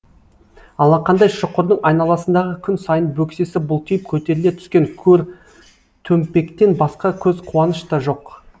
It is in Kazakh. алақандай шұқырдың айналасындағы күн сайын бөксесі бұлтиып көтеріле түскен көр төмпектен басқа көз қуаныш та жоқ